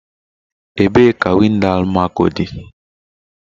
Ebee ka windo Almaco dị?